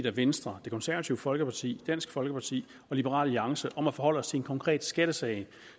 af venstre det konservative folkeparti dansk folkeparti og liberal alliance om at forholde os til en konkret skattesag